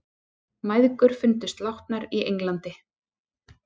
Mæðgur fundust látnar í Englandi